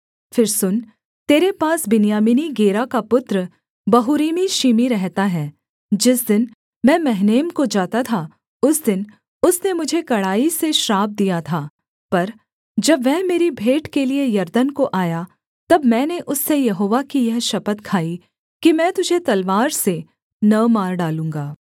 फिर सुन तेरे पास बिन्यामीनी गेरा का पुत्र बहूरीमी शिमी रहता है जिस दिन मैं महनैम को जाता था उस दिन उसने मुझे कड़ाई से श्राप दिया था पर जब वह मेरी भेंट के लिये यरदन को आया तब मैंने उससे यहोवा की यह शपथ खाई कि मैं तुझे तलवार से न मार डालूँगा